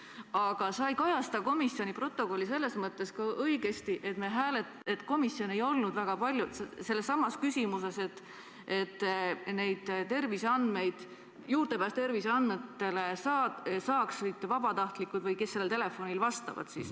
Aga sa ei kajasta komisjoni protokolli selles mõttes õigesti, et komisjon ei olnud ühel meelel selles küsimuses, et neile terviseandmetele saaksid juurdepääsu vabatahtlikud või need, kes sellel telefonil vastavad.